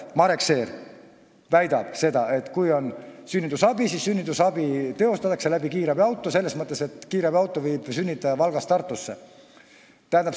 Marek Seer väidab seda, et sünnitusabi hakatakse teostama kiirabiauto abil – selles mõttes, et kiirabiauto viib sünnitaja Valgast Tartusse.